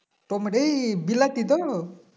tomato বিলাতি তো